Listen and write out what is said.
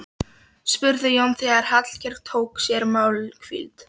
spurði Jón þegar Hallkell tók sér málhvíld.